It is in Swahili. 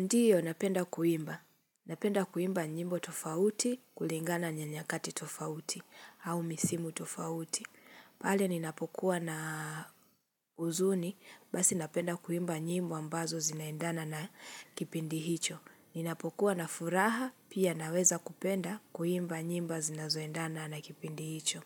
Ndio, napenda kuimba. Napenda kuimba nyimbo tofauti, kulingana nyanyakati tofauti, au misimu tofauti. Pale, ninapokuwa na uzuni, basi napenda kuimba nyimbo ambazo zinaendana na kipindi hicho. Ninapokuwa na furaha, pia naweza kupenda kuimba nyimbo zinazoendana na kipindi hicho.